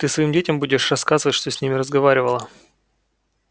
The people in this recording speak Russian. ты своим детям будешь рассказывать что с ним разговаривала